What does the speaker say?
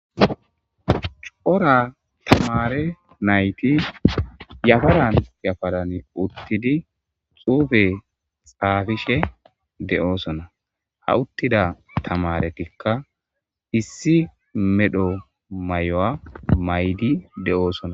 Cora tamare nayti yafaran yafaran uttidi xuufe xaafishe de'oosona ha uttida tamaretikka issi medho may7o7a maydi de'oosona.